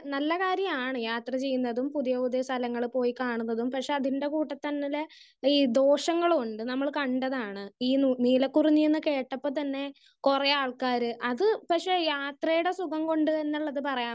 Speaker 1 നല്ല കാര്യമാണ് യാത്ര ചെയ്യുന്നതും പുതിയ പുതിയ സ്ഥലങ്ങൾ പോയി കാണുന്നതും. പക്ഷെ അതിൻ്റെ കൂട്ടത്തിൽ തന്നെങ്കില് ഈ ദോഷങ്ങളും ഉണ്ട്. നമ്മള് കണ്ടതാണ് ഈ നീലക്കുറുഞ്ഞി എന്ന് കേട്ടപ്പോ തന്നെ കുറേ ആൾക്കാര് അത് പക്ഷെ യാത്രയുടെ സുഖം കൊണ്ട് തന്നെ ഇള്ളത് എന്ന് പറയാൻ,